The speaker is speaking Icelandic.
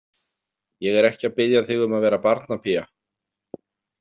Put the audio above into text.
Ég er ekki að biðja þig um að vera barnapía.